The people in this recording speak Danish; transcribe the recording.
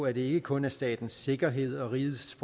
at det ikke kun er statens sikkerhed og rigets